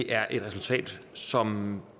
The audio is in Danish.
er et resultat som